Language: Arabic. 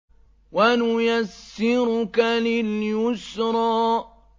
وَنُيَسِّرُكَ لِلْيُسْرَىٰ